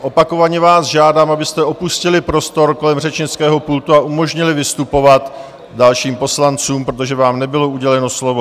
Opakovaně vás žádám, abyste opustili prostor kolem řečnického pultu a umožnili vystupovat dalším poslancům, protože vám nebylo uděleno slovo.